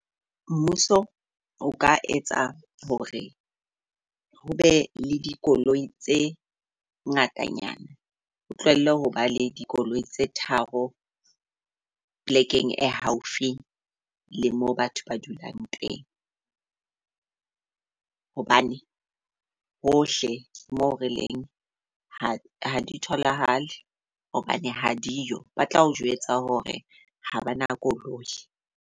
Mmuso o ka etsa hore ho be le dikoloi tse ngatanyana, o tlohelle ho ba le dikoloi tse tharo plek-eng e haufi le mo batho ba dulang teng. Hobane hohle moo re leng ha ha di tholahale hobane ha di yo ba tla o jwetsa hore ha ba na koloi.